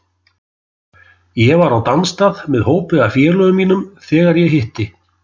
Ég var á dansstað með hópi af félögum mínum þegar ég hitti